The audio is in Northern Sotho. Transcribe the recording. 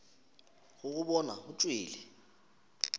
go go bona o tšwele